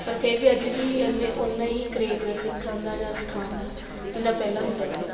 ਪਰ ਫ਼ਿਰ ਵੀ ਅੱਜ ਵੀ ਇੰਨੇ ਉਹਨਾ ਹੀ craze ਏ ਸਿਖਣ ਜਾਂ ਸਿਖਾਣ ਦਾ ਜਿੰਨਾ ਪਹਿਲਾਂ ਹੁੰਦਾ ਸੀ